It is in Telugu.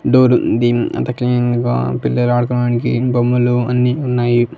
డోర్ ఉంది అంతా క్లీన్ గా పిల్లలు ఆడుకోవడానికి బొమ్మలు అన్నీ ఉన్నాయి.